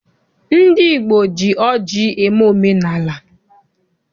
Ndị Igbo ji ọjị eme omenaala.